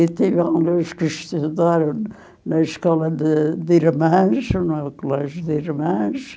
E tivemos que estudar na escola de de irmãs, no colégio de irmãs.